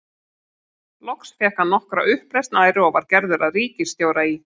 Loks fékk hann nokkra uppreisn æru og var gerður að ríkisstjóra í